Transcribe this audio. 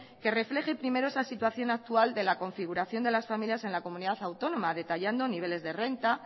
que refleje primero esa situación actual de la configuración de las familias en la comunidad autónoma detallando niveles de renta